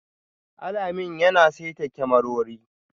Alamin yana saita kyamarori